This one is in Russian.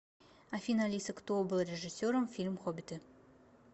афина алиса кто был режиссером фильм хоббиты